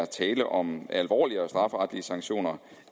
tale om alvorligere strafferetlige sanktioner